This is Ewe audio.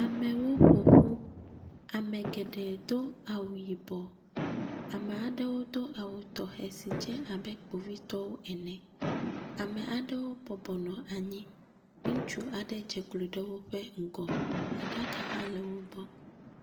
Amewo ƒoƒu, ame geɖe do awu yibɔ, ame aɖewo do awu tɔxɛ si dze abe kpovitɔwo ene. Ame aɖewo bɔbɔ nɔ anyi, ŋutsu aɖe dze klo ɖe woƒe ŋgɔ, aɖaka hã le wo gbɔ.